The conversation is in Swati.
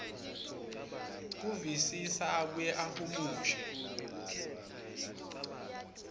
kuvisisa abuye ahumushe